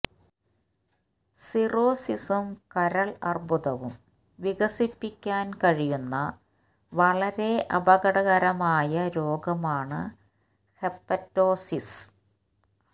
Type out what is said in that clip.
സിറോസിസും കരൾ അർബുദവും വികസിപ്പിക്കാൻ കഴിയുന്ന വളരെ അപകടകരമായ രോഗമാണ് ഹെപ്പറ്റോസിസ്